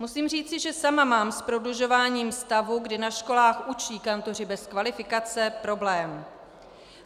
Musím říci, že sama mám s prodlužováním stavu, kdy na školách učí kantoři bez kvalifikace, problém.